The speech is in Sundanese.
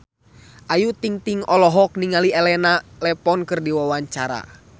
Ayu Ting-ting olohok ningali Elena Levon keur diwawancara